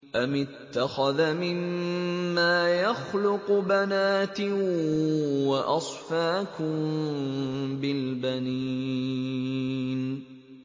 أَمِ اتَّخَذَ مِمَّا يَخْلُقُ بَنَاتٍ وَأَصْفَاكُم بِالْبَنِينَ